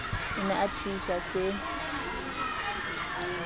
o ne a thuisa se